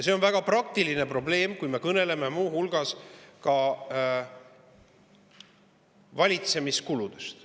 See on väga praktiline probleem, kui me kõneleme muu hulgas ka valitsemiskuludest.